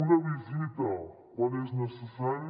una visita quan és necessari